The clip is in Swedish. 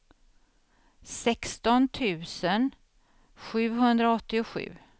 sexton tusen sjuhundraåttiosju